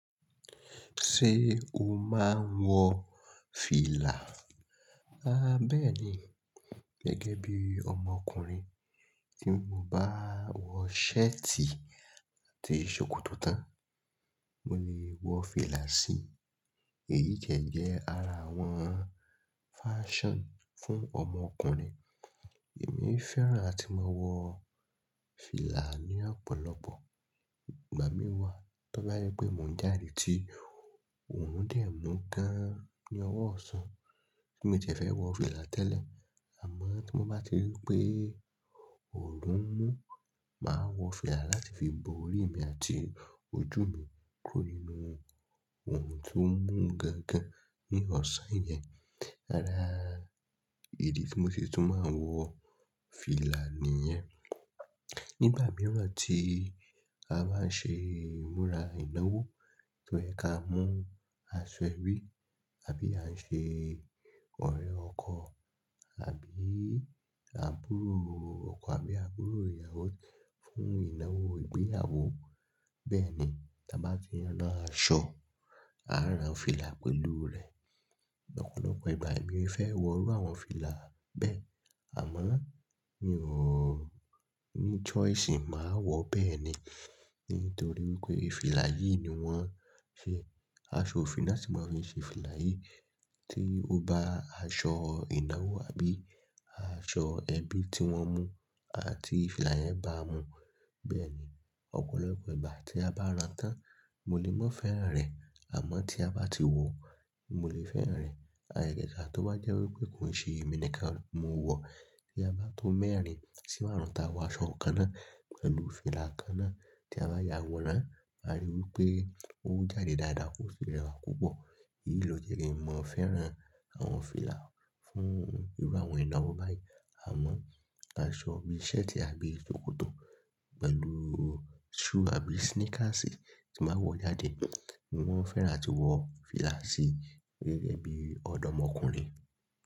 Ṣé o máa ń wọ fìlà? A bẹ́ẹ̀ ni gẹ́gẹ́ bí ọmọkùnrin tí mo bá wọ shirt àti ṣòkòtò tán, mo lè wọ fìlà sí i. Èyí tiẹ́ jẹ́ ara àwọn fashion fún ọmọkùnrin. Èmi fẹ́ràn àti máa wọ fìlà ní ọ̀pọ̀lọpọ̀ ìgbà mí wà. Tọ́ bá jẹ́ pé mò ń jáde ti òòrun dẹ̀ mú gan ní ọwọ́ ọ̀sán, bí mi ò tiẹ́ fẹ́ wọ fìlà tẹ́lẹ̀. Àmọ́ tí mo bá rí pé òòrùn mú, màá wọ fìlà láti fi bo orí mi àti ojú mi kúrò nínú òòrùn tó ń mú gan gan ní ọ̀sán yẹn. Ara ìdí tí mo ṣe tún máa wọ fìlà nìyẹn. Nígbà mìíràn tí a bá ń ṣe ìmúra ìnáwó, tóyẹ ka mú aṣọ ẹbí àbí à ń ṣe ọ̀rẹ́ ọkọ àbí àbúrò ọkọ àbí àbúrò ìyàwó fún ìnáwó ìgbéyàwó. Bẹ́ẹ̀ ni tá bá fi rán aṣọ, á rán fìlà pẹ̀lú rẹ̀. Ọ̀pọ̀lọpọ̀ ìgbà èmi fẹ́ wọ irú àwọn fìlà bẹ́ẹ̀. Àmọ́ mi ò ní choice máa wọ bẹ́ẹ̀ ni nítorí wípé fìlà yìí ni wón ṣe aṣọ òfi náa sì mó fiṣe fìlà yìí tí ó bá aṣọ ìnáwó àbí aṣọ ẹbí tí wón mú àti fìlà yẹn bá mu. Bẹ́ẹ̀ ni ọ̀pọ̀lọpọ̀ ìgbà tí a bá rán tán, mo lè mọ́ fẹ́ràn rẹ̀ àmọ́ tí a bá ti wọ, mo lè fẹ́ràn rẹ̀. Àgàgà à tó bá jẹ́ wípé kò ń ṣe èmi nìkan mo wọ̀. Tí a bá tó mẹ́rin sí márún ta wọ aṣọ kan náà pẹ̀lú fìlà kan náà tí a bá yà àwọ̀rán, màá ríi wípé ó jáde dáadáa, ó sì rẹwà púpọ̀. Èyí ló jẹ́ kí n mo fẹ́ràn àwọn fìlà fún irú àwọn ìnáwó báyìí. Àmọ́ aṣọ bí i ṣẹ́ẹ̀tì àbí ṣòkòtò pẹ̀lú shoe àbí sneakers tí màá wọ̀ jáde ni wón fẹ́ràn àti wọ fìlà sí i gẹ́gẹ́ bí ọ̀dọ́mọkùnrin.